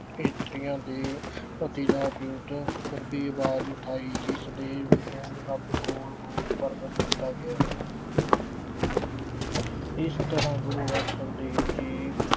ਇਸਤਰੀਆਂ ਦੇ ਅਹ ਵਿਰੁੱਧ ਕਰੜੀ ਅਵਾਜ਼ ਉਠਾਈ, ਜਿਸ ਦੇ ਵਿਰੋ ਅਹ ਰੱਬ ਕੋਲ ਰੋਸ ਪ੍ਰਗਟ ਕੀਤਾ ਗਿਆ ਹੈ ਇਸ ਤਰ੍ਹਾਂ ਗੁਰੂ ਅਰਜਨ ਦੇਵ ਜੀ